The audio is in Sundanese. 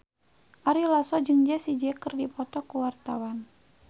Ari Lasso jeung Jessie J keur dipoto ku wartawan